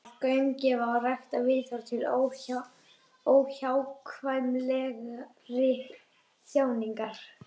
Að gaumgæfa og rækta viðhorfið til óhjákvæmilegrar þjáningar.